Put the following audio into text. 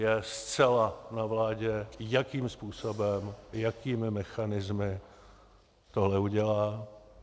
Je zcela na vládě, jakým způsobem, jakými mechanismy tohle udělá.